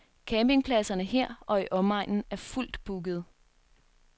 Campingpladserne her og i omegnen er fuldt bookede.